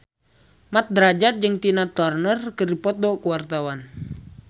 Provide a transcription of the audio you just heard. Mat Drajat jeung Tina Turner keur dipoto ku wartawan